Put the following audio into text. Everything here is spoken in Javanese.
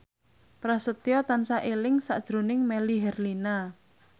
Prasetyo tansah eling sakjroning Melly Herlina